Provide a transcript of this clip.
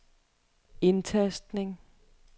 indtastning